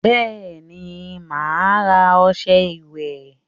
Bẹẹni, ma ara ọsẹ ìwẹ̀